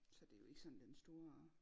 Så det er jo ikke sådan den store